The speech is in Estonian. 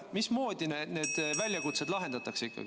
Mismoodi need väljakutsed ikkagi lahendatakse?